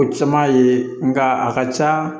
O caman ye nga a ka ca